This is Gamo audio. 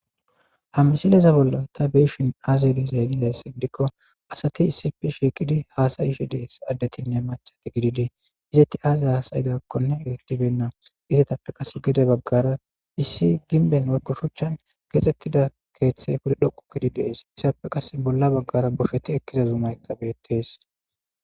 Ha misileza bolla ta beishin aazelizailees gidikko asati issife shiiqidi haasayishe dees addetinne machat gididii izetti aazay asayidakkone elettibenna izetappe qas gede baggara issi ginben oykko shuchchan keexxettida keeththey wuri dhoqu kidi dees issappe qas bolla baggara bosheti ekkida zumaykabetees.